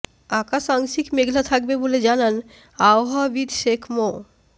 আকাশ আংশিক মেঘলা থাকবে বলে জানান আবহাওয়াবিদ শেখ মো